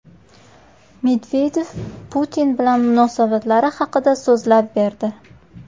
Medvedev Putin bilan munosabatlari haqida so‘zlab berdi.